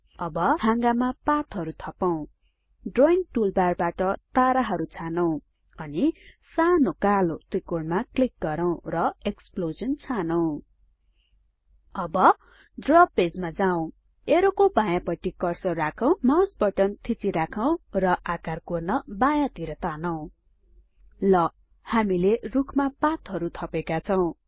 अब हाँगामा पातहरु थपौं ड्रइंग टूलबारबाट ताराहरु छानौं अनि सानो कालो त्रिकोणमा क्लिक गरौँ र एक्सप्लोजन छानौं अब ड्र पेजमा जाउँ एरोको बायाँ पट्टि कर्सर राखौं माउस बटन थिची राखौं र आकार कोर्न बायाँतिर तानौं ल हामीले रुखमा पातहरु थपेका छौं